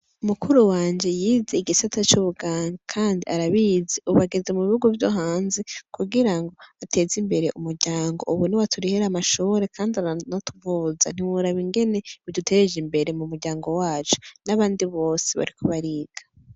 Mukuru wanje yize igisata c'ubuganga, kandi arabizi ubu ageze mubihugu vyo hanze kugirango ateze imbere umuryango , ubu niwe aturihir'amashure kandi aranatuvuza. Ntiworaba ingene bidutej' imbere mum'uryango wacu. Nabandi bose bariko bariga.